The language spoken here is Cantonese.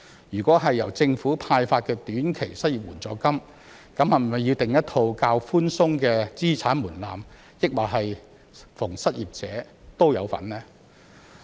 如果由政府派發短期失業援助金，那麼是否要訂立一套較寬鬆的資產門檻，還是逢失業者都有份呢？